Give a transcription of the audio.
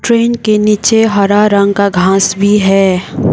Train के नीचे हरा रंग का घास भी है।